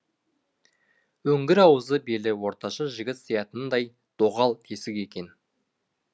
үңгір аузы белі орташа жігіт сиятындай доғал тесік екен